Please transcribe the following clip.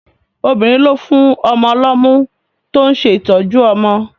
Obìnrin ló ń fún ọmọ lọ́mú tó ń ṣe ìtọ́jú ọmọ